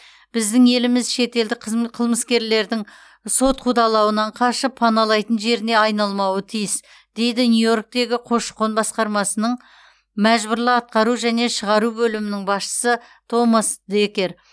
біздің еліміз шетелдік қылмыскерлердің сот қудалауынан қашып паналайтын жеріне айналмауы тиіс дейді нью йорктегі көші қон басқармасының мәжбүрлі атқару және шығару бөлімінің басшысы томас декер